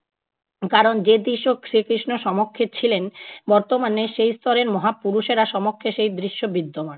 কারণ যে দৃশ্যে শ্রীকৃষ্ণ সমক্ষে ছিলেন বর্তমানে সেই স্তরের মহাপুরুষেরা সমক্ষে সেই দৃশ্য বিদ্যমান ।